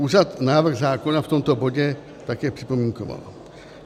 Úřad návrh zákona v tomto bodě také připomínkoval.